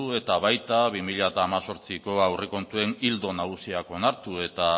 eta baita bi mila hemezortziko aurrekontuen ildo nagusiak onartu eta